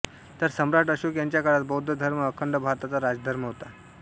तर सम्राट अशोक यांच्या काळात बौद्ध धर्म अखंड भारताचा राजधर्म होता